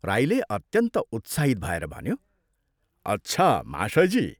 राईले अत्यन्त उत्साहित भएर भन्यो, "अच्छा, महाशयजी!